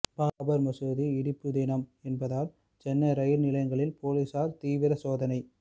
பாபர் மசூதி இடிப்பு தினம் என்பதால் சென்னை ரயில் நிலையங்களில் போலீசார் தீவிர சோதனை